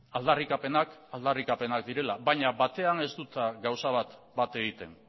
aldarrikapenak aldarrikapenak direla baina batean ez dut gauza bat bat egiten